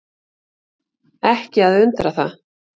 Ekki að undra það.